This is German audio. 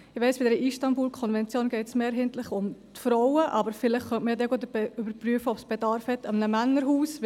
Ich weiss, dass es bei der Istanbul-Konvention mehrheitlich um Frauen geht, vielleicht könnte man zugleich überprüfen, ob Bedarf an einem Männerhaus besteht.